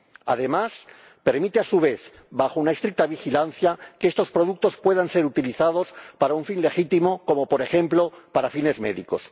Además, permite, a su vez, bajo una estricta vigilancia, que estos productos puedan ser utilizados para un fin legítimo, como, por ejemplo, para fines médicos.